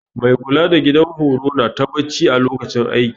Mai kula da gidan horo nata bacci a lokacin aiki